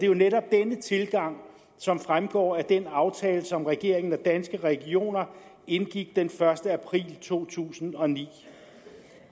jo netop denne tilgang som fremgår af den aftale som regeringen og danske regioner indgik den første april to tusind og ni